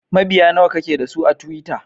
Mabiya nawa ke da su a twitter?